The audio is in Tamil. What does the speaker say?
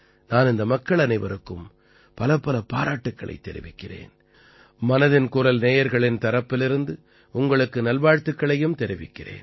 நான் இந்த மக்கள் அனைவருக்கும் பலப்பல பாராட்டுக்களைத் தெரிவிக்கிறேன் மனதின் குரல் நேயர்களின் தரப்பிலிருந்து உங்களுக்கு நல்வாழ்த்துக்களையும் தெரிவிக்கிறேன்